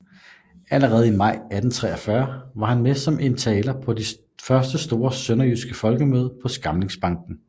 Allerede i maj 1843 var han med som taler på den første store sønderjyske folkemøde på Skamlingsbanken